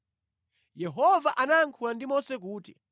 Yehova anayankhula ndi Mose kuti,